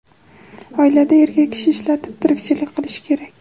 Oilada erkak kishi ishlab, tirikchilik qilishi kerak.